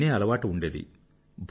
అది వినే అలవాటు ఉండేది